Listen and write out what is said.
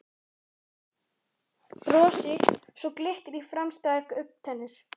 Brosi svo glittir í framstæðar augntennur.